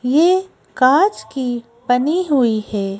ये कांच की बनी हुई है।